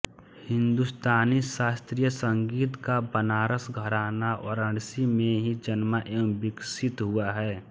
हिन्दुस्तानी शास्त्रीय संगीत का बनारस घराना वाराणसी में ही जन्मा एवं विकसित हुआ है